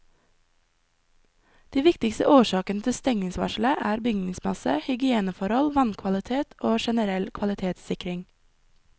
De viktigste årsakene til stengningsvarselet er bygningsmasse, hygieneforhold, vannkvalitet og generell kvalitetssikring.